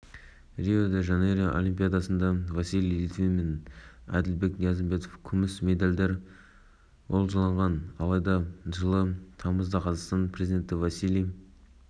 ұлттық олимпиада комитеті рио олимпиадасының күміс жүлдегерлері василий левит пен әділбек ниязымбетовке алтынға пара-пар сыйақыны табыстамақ деп хабарлады қазақпарат қазақстан бокс